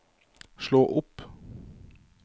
slå opp